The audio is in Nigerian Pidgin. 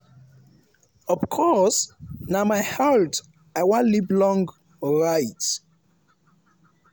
“of course na my health i wan live long right?